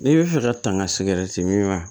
N'i bɛ fɛ ka taa ka min wa